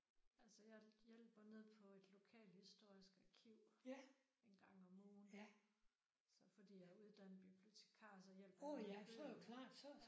Altså jeg hjælper nede på et lokalhistorisk arkiv en gang om ugen så fordi jeg er uddannet bibliotekar så hjælper jeg med bøgerne